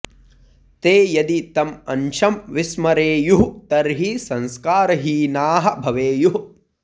ते यदि तम् अंशं विस्मरेयुः तर्हि संस्कारहीनाः भवेयुः